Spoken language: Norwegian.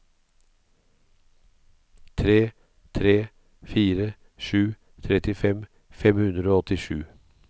tre tre fire sju trettifem fem hundre og åttisju